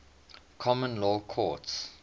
common law courts